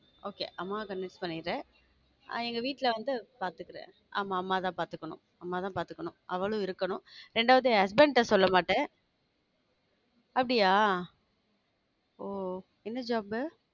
Okay அம்மாவ convince பண்ணிரு நான் எங்க வீட்டுல வந்து பார்த்துக்கிறேன் ஆமா அம்மாதான் பார்த்துக்கணும் அம்மாதான் பார்த்துக்கணும் அவளும் இருக்கணும் இரண்டாவது என் husband ட்ட சொல்ல மாட்டேன் அப்படியா? ஓ என்ன job